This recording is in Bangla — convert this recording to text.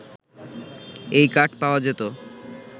এই কাঠ পাওয়া যেত